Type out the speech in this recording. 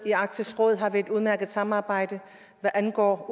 arktisk råd har vi et udmærket samarbejde hvad angår